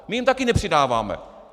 My jim taky nepřidáváme.